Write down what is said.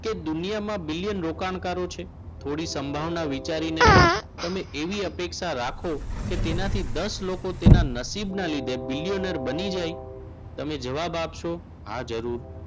કે દુનિયામાં બિલિયન રોકાણકારો છે થોડી સંભાવના વિચારીને પણ તમે એવી અપેક્ષા રાખો કે તેનાથી દસ લોકો તેના નસીબના લીધે billioner બની જાય તમે જવાબ આપશો. હા જરૂર.